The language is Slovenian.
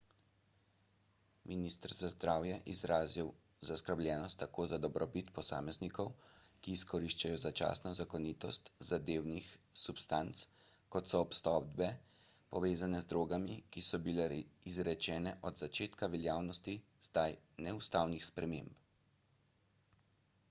minister za zdravje je izrazil zaskrbljenost tako za dobrobit posameznikov ki izkoriščajo začasno zakonitost zadevnih substanc kot za obsodbe povezane z drogami ki so bile izrečene od začetka veljavnosti zdaj neustavnih sprememb